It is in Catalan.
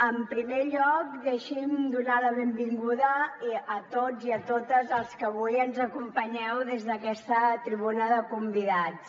en primer lloc deixi’m donar la benvinguda a tots i a totes els que avui ens acompanyeu des d’aquesta tribuna de convidats